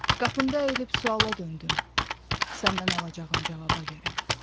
Qapında əyilib suala döndüm səndən alacağım cavaba görə.